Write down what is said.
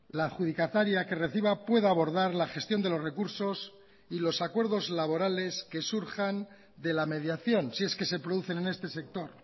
la adjudicataria que reciba pueda abordar la gestión de los recursos y los acuerdos laborales que surjan de la mediación si es que se producen en este sector